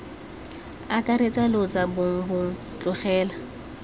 akaretsa lotso bong bong tlholego